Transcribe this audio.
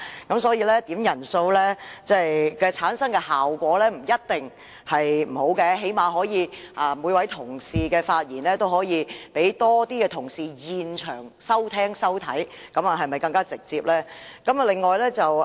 因此，點算人數所產生的效果未必一定不好，起碼同事的發言會有更多其他同事在現場收聽收看，這不是更直接嗎？